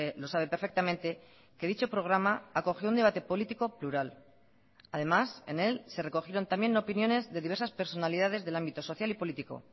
lo sabe perfectamente que dicho programa acogió un debate político plural además en él se recogieron también opiniones de diversas personalidades del ámbito social y político